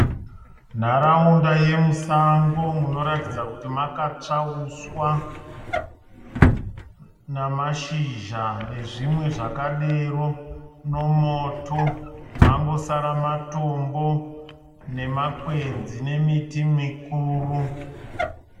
Nharaunda yemusango munoratidza kuti makatsva huswa namashizha nezvimwe zvakadero nemoto. Mangosara matombo nemakwenzi nemiti mikuru.